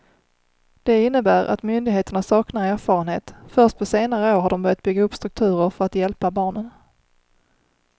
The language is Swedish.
Det innebär att myndigheterna saknar erfarenhet, först på senare år har de börjat bygga upp strukturer för att hjälpa barnen.